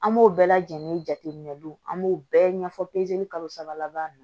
An b'o bɛɛ lajɛlen jateminɛ an b'o bɛɛ ɲɛfɔ kalo saba laban na